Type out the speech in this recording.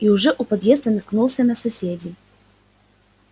и уже у подъезда наткнулся на соседей